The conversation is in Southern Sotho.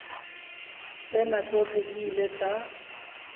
tsena tsohle di ile tsa